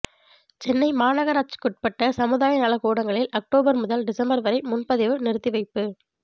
சென்னை மாநகராட்சிக்குட்பட்ட சமுதாய நலக்கூடங்களில் அக்டோபர் முதல் டிசம்பர் வரை முன்பதிவு நிறுத்திவைப்பு